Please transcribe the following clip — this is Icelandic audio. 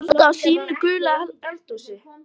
Að standa á sínu í gulu eldhúsi